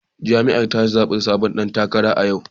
Jam'iyyar ta zabi sabon dan takara a yau